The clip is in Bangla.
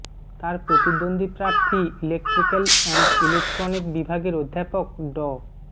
তার প্রতিদ্বন্দ্বী প্রার্থী ইলেকট্রিক্যাল অ্যান্ড ইলেকট্রনিক বিভাগের অধ্যাপক ড